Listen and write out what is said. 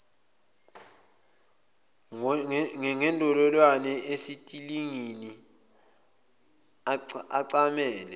ngendololwane esitelingini ecamele